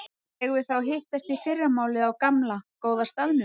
Eigum við þá að hittast í fyrramálið á gamla, góða staðnum?